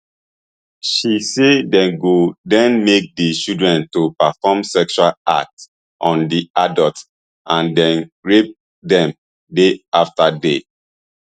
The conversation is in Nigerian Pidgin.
she say dey go den make di children to perform sexual acts on di adults and den rape dem days afta day